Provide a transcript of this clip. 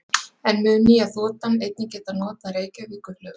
En mun nýja þotan einnig geta notað Reykjavíkurflugvöll?